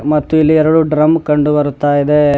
ಮತ್ತು ಇಲ್ಲಿ ಎರಡು ಡ್ರಮ್ ಕಂಡು ಬರ್ತಾ ಇದೆ.